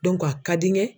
a ka di n ye